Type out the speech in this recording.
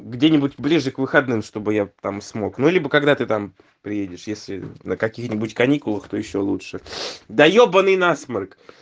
где-нибудь ближе к выходным чтобы я там смог ну либо когда ты там приедешь если на каких-нибудь каникулах то ещё лучше да ёбанный насморк